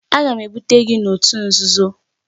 Aga m ebute gị n'òtù nzuzo!